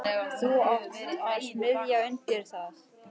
Þú átt að smíða undir það.